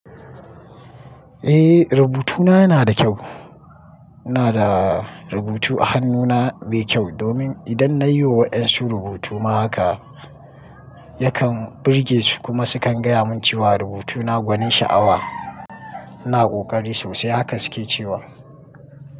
Eh rubutuna yana da kyau. Ina da rubutu a hannuna mai kyau domin idan nayi wa waƴansu rubutu ma haka, yakan burge su kuma sukan gaya mun cewa rubutuna gwanin sha'awa. Ina ƙoƙari sosai haka suke cewa.